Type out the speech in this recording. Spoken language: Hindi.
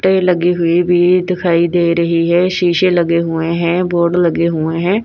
लगी हुई भी दिखाई दे रही है शीशे लगे हुए हैं बोर्ड लगे हुए हैं।